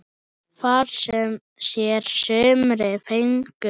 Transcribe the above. Far sér sumir fengu þar.